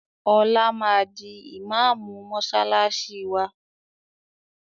Ọlá máa di ìmaamù mọsálásí wá